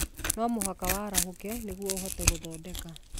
No mũhaka warahũke nĩguo ũhote gũthondeka.